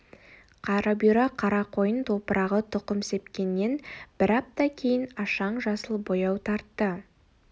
қарабұйра қарақойын топырағы тұқым сепкеннен бір апта кейін ашаң жасыл бояу тартты